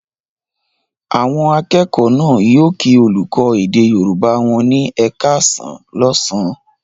Àwọn akẹ́kọ̀ọ́ náà yóò kí olùkọ́ èdè Yorùbá wọn ní "ẹ káàsán" lọ́sàn-án.